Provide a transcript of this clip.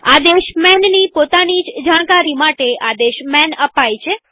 આદેશ manની પોતાની જ જાણકારી માટે આદેશ માન અપાય છે